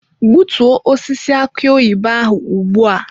Gbutuo osisi aki oyibo ahụ ugbu a!